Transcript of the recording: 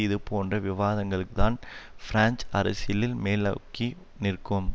இதுபோன்ற விவாதங்கள்தான் பிராஞ்சு அரசியலில் மேலோங்கி நிற்கும்